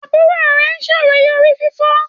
Àbúrò rẹ ṣàròyé orí fífọ́.